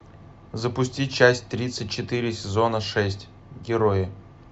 запусти часть тридцать четыре сезона шесть герои